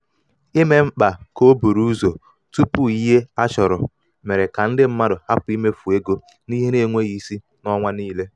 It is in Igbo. ime um mkpa ka o buru ụzọ tupu ihe tupu ihe a chọrọ mere ka ndị mmadụ hapụ imefu ego n'ihe na-enweghị isi n'ọnwa niile.